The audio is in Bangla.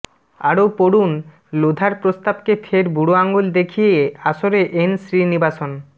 আরও পড়ুন লোধার প্রস্তাবকে ফের বুড়ো আঙুল দেখিয়ে আসরে এন শ্রীনিবাসন